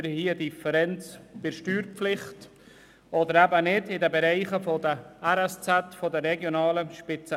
Wir haben bei den regionalen Spitalzentren (RSZ) eine Differenz bei der Steuerpflicht, oder eben nicht.